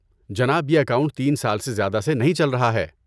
جناب، یہ اکاؤنٹ تین سال سے زیادہ سے نہیں چل رہا ہے۔